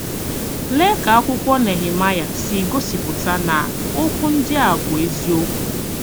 Lee ka akwụkwọ Nehemaịa si gosipụta na okwu ndị a bụ eziokwu!